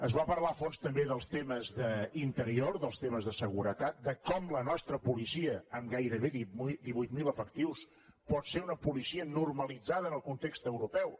es va parlar a fons també dels temes d’interior dels temes de seguretat de com la nostra policia amb gairebé divuit mil efectius pot ser una policia normalitzada en el context europeu